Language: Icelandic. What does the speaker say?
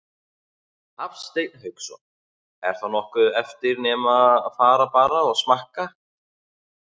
Hafsteinn Hauksson: Er þá nokkuð eftir nema fara bara og smakka?